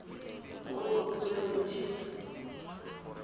botsweretshi